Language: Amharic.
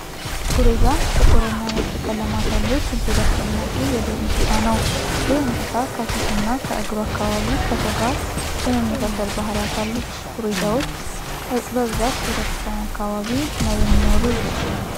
ጉሬዛ ጥቁር እና ነጭ ቀለማት ያሉት እጅግ አስደናቂ የዱር እንስሳ ነው። ይህ እንስሳ ከፊቱ እና ከእግሩ አካባቢ ከሰው ልጅ ጋር የመመሳሰል ባህሪያት አሉት። ጉሬዛዎች በብዛት ቤተክርስቲያን አካባቢ ነው የሚኖሩ።